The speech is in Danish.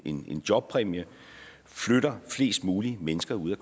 en jobpræmie flytter flest mulige mennesker ud af